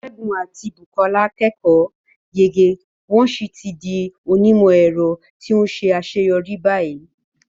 Segun àti Bukola kẹ́kọ̀ọ́ yege wọ́n sì ti di onímọ̀-ẹ̀rọ tí ó ṣe àṣeyọrí báyìí.